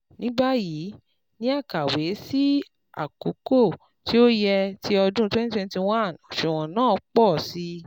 Ní báyìí, ni akawe si akoko tí ó yẹ ti ọdún twenty twenty one òṣùwọ̀n naáà pọ̀ si